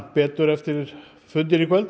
betur eftir fundinn í kvöld en